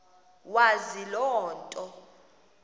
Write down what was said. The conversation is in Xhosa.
wazi loo nto